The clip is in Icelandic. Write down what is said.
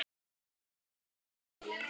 Stoppum þessa þvælu.